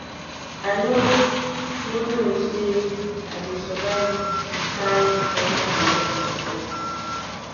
i no no know say i go survive the kin depression i get before